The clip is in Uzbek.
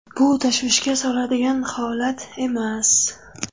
Bu tashvishga soladigan holat emas.